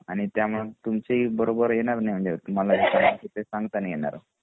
आणि त्यामुळे तुमची बरोबर येणार नाही तुम्हाला जे सांगायच आहे ते संगता नाही येणार . हे ना